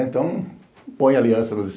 Então, põe aliança no